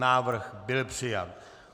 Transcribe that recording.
Návrh byl přijat.